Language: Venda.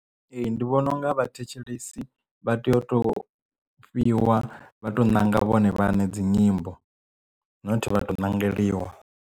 Ee ndi vhona unga vhathetshelesi vha tea u to fhiwa vha to ṋanga vhone vhaṋe dzi nyimbo not vha to nangeliwa.